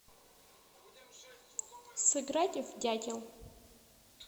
сыграть в дятел